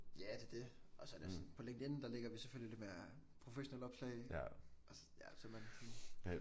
Ja det er det. Og så er det sådan på LinkedIn der lægger vi selvfølgelig det mere professionelle opslag så man sådan